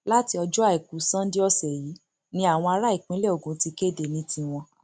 láti ọjọ àìkú Sunday ọsẹ yìí ni àwọn ará ìpínlẹ ogun ti kéde ní tiwọn